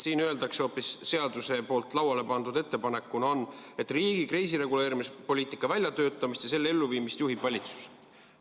Siin öeldakse hoopis nii, seaduseelnõus lauale pandud ettepanekus on nii, et riigi kriisireguleerimispoliitika väljatöötamist ja selle elluviimist juhib valitsus.